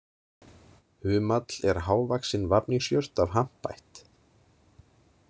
Humall er hávaxin vafningsjurt af hampætt.